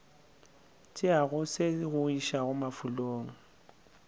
tšeago se go iša mafulong